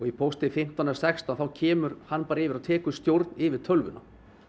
pósti fimmtán eða sextán þá kemur hann bara yfir og tekur stjórn yfir tölvuna